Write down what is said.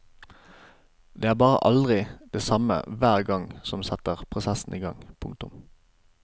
Det er bare aldri det samme hver gang som setter prosessen i gang. punktum